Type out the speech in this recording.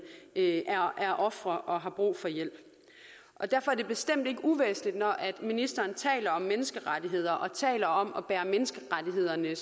er ofre og har brug for hjælp derfor er det bestemt ikke uvæsentligt når ministeren taler om menneskerettigheder og taler om at bære menneskerettighederne